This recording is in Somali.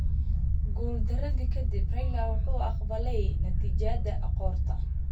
Guuldaradii ka dib, Raila wuxuu aqbalay natiijada qoorta.